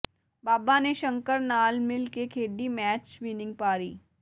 ਬਾਬਾ ਨੇ ਸ਼ੰਕਰ ਨਾਲ ਮਿਲ ਕੇ ਖੇਡੀ ਮੈਚ ਵਿਨਿੰਗ ਪਾਰੀ